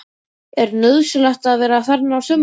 Er nauðsynlegt að vera þarna á sumrin?